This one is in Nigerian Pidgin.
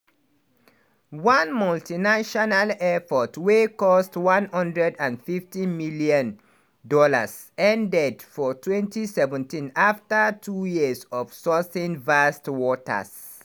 one multinational effort wey cost $150m ended for 2017 afta two years of sourcing vast waters.